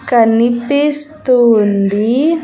కనిపిస్తూ ఉంది.